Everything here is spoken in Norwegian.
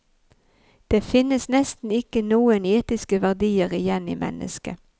Det finnes nesten ikke noen etiske verdier igjen i mennesket.